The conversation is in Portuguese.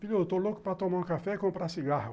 Filho, eu estou louco para tomar um café e comprar cigarro.